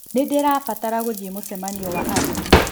Nĩndĩrabatara gũthiĩ mũcemanio wa arĩmi